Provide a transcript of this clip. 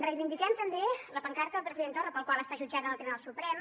reivindiquem també la pancarta del president torra per la qual ha estat jutjat en el tribunal suprem